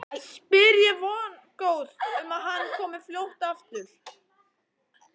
spyr ég vongóð um að hann komi fljótt aftur.